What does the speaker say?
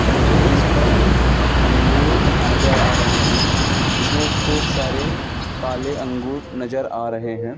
मुझे इस पर अंगूर नजर आ रहे हैं इसमें खूब सारे काले अंगूर नजर आ रहे है।